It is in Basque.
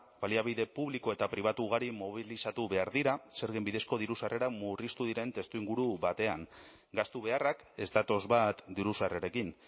baliabide publiko eta pribatu ugari mobilizatu behar dira zergen bidezko diru sarrerak murriztu diren testuinguru batean gastu beharrak ez datoz bat diru sarrerekin